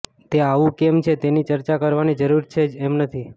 તે આવું કેમ છે તેની ચર્ચા કરવાની જરૂર છે જ એમ નથી